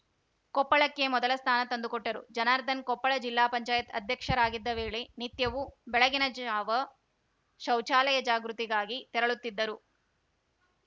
ಕೊಪ್ಪಳಕ್ಕೆ ಮೊದಲ ಸ್ಥಾನ ತಂದುಕೊಟ್ಟರು ಜನಾರ್ದನ್‌ ಕೊಪ್ಪಳ ಜಿಲ್ಲಾ ಪಂಚಾಯತ್ ಅಧ್ಯಕ್ಷರಾಗಿದ್ದ ವೇಳೆ ನಿತ್ಯವೂ ಬೆಳಗಿನ ಜಾವ ಶೌಚಾಲಯ ಜಾಗೃತಿಗಾಗಿ ತೆರಳುತ್ತಿದ್ದರು